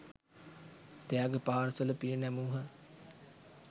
ත්‍යාග parcel පිරිනැමූහ